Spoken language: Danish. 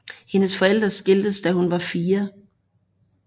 Hendes forældre skiltes da hun var fire